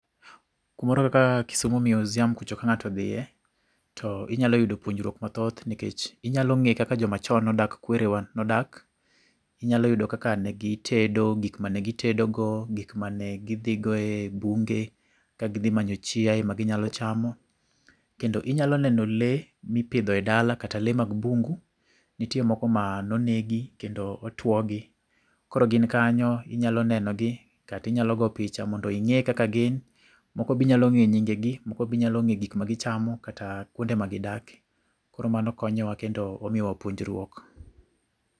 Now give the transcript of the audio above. Kumoro kaka Kisumu Museum kucho ka ng'ato odhiye, to inyalo yudo puonjruok mathoth nikech inyalo ng'e kaka jomachon nodak kwere wa nodak. Inyalo yudo kaka negitedo, gik mane gitedogo, gik mane gidhigo e bunge ka gidhimanyo chiaye maginyalo chamo. kendo inyalo neno lee mipidho e dala kata lee mag bungu, nitie moko mano negi kendo otwogi. Koro gin kanyo, inyalo nenogi, kati inyalo go picha mondo ing'e kaka gin. Moko binyalo ng'e nyinge gi, moko binyalo ng'e gik magichamo kata kwonde magidake. Koro mano konyowa kendo omiyowa puonjruok